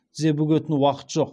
тізе бүгетін уақыты жоқ